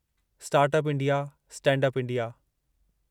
start up India, stand up India